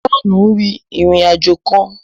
Johnu ǹ rin ìrìn-àjò kàn